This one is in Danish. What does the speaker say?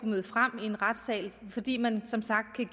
møde frem i en retssal fordi man som sagt kan